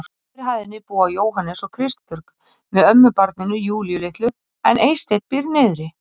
Á efri hæðinni búa Jóhannes og Kristbjörg með ömmubarninu Júlíu litlu en Eysteinn býr niðri.